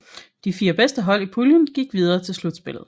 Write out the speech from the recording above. De fire bedste hold i puljen gik videre til slutspillet